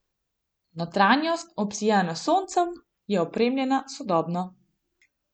Notranjost, obsijana s soncem, je opremljena sodobno.